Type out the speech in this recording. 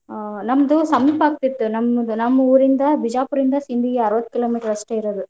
ಹಾ ನಮ್ದ್ ಸಮೀಪ ಆಗ್ತಿತ್ತ್ ನಮ್ಮ್ಊರಿಂದ ಬಿಜಾಪುರಿಂದ ಸಿಂಧಗಿ ಅರಾವತ್ತ್ kilometer ಅಷ್ಟ್ ಇರೋದು.